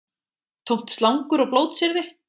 Tómt slangur og blótsyrði